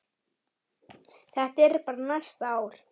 Þetta er bara næsta ár.